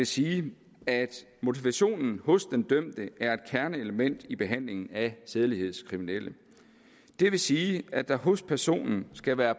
sige at motivationen hos den dømte er et kernelement i behandlingen af sædelighedskriminelle det vil sige at der hos personen skal være